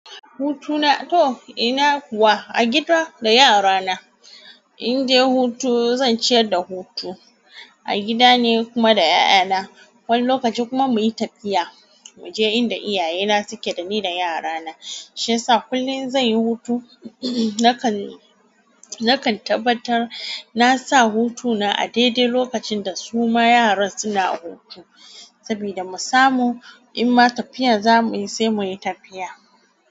Hutu na to ina kuwa a gida da yara na in je hutu zan ciyar da hutu a gida ne kuma da 'ya'ya na. Wani lokaci kuma muyi tafiya muje inda iyaye na suke da ni da yara na. Shi yasa kullin zan yi hutu, nakan, nakan tabbatar na sa hutuna a daidai lokacin da su ma yaran suna hutu. Sabida mu samu in ma tafiya zamuyi sai muyi tafiya.